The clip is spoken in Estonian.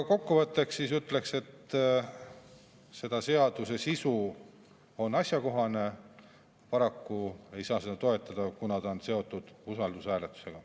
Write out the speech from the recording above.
Kokku võttes ütlen, et seaduse sisu on asjakohane, aga paraku ei saa seda eelnõu toetada, sest see on seotud usaldushääletusega.